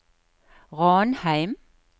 Ranheim